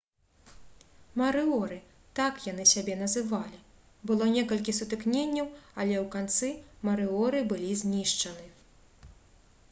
«марыоры» — так яны сябе называлі было некалькі сутыкненняў але ў канцы марыоры былі знішчаны